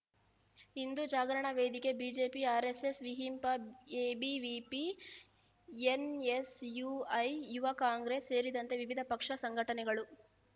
Hindu Jagarana Vedike BJP RSS ವಿಹಿಂಪ ABVP NSUI Yuva Congress ಸೇರಿದಂತೆ ವಿವಿಧ ಪಕ್ಷ ಸಂಘಟನೆಗಳು